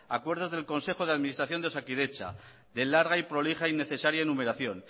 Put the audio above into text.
acuerdos del consejo de administración de osakidetza de larga y prolija e innecesaria numeración